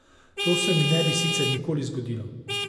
To se mi ne bi sicer nikoli zgodilo.